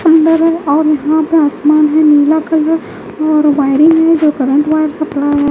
सुंदर है और यहाँ पे आसमान है नीला कलर और वायरिंग है जो करंट वायर सप्लाई है --